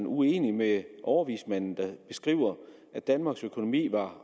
uenig med overvismanden der skriver at danmarks økonomi var